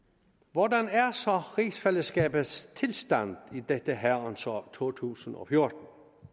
hvordan er så rigsfællesskabets tilstand i dette herrens år 2014